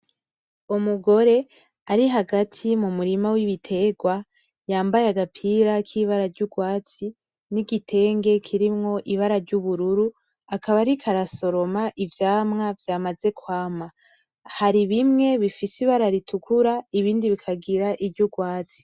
Umugore ari hagati mu murima w’ibitegwa yambaye agapira k’ibara ry’ugwatsi n’igitenge kirimwo ibara ry’ubururu akaba ariko arasoroma ivyamwa vyamaze kwama. Hari bimwe bifise ibara ritukura ibindi bikagira iry’ugwatsi.